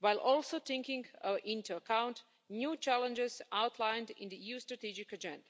while also taking into account new challenges outlined in the EU's strategic agenda.